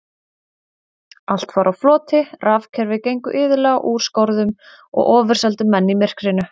Allt var á floti, rafkerfi gengu iðulega úr skorðum og ofurseldu menn myrkrinu.